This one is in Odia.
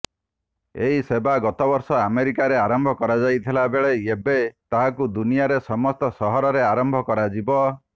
ଏହି ସେବା ଗତବର୍ଷ ଆମେରିକାରେ ଆରମ୍ଭ କରାଯାଇଥିବା ବେଳେ ଏବେ ତାହାକୁ ଦୁନିଆରେ ସମସ୍ତ ସହରରେ ଆରମ୍ଭ କରାଯିବ